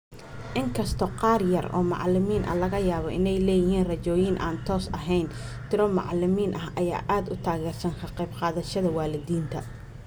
Inkastoo qaar yar oo macalimiin ah laga yaabo inay leeyihiin rajooyin aan toos ahayn, tiro macalimiin ah ayaa aad u taageersan ka qayb qaadashada waalidiinta.